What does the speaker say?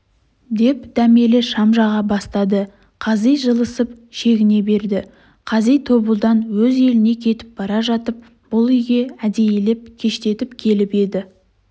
деп дәмелі шам жаға бастады қази жылысып шегіне берді қази тобылдан өз еліне кетіп бара жатып бұл үйге әдейілеп кештетіп келіп еді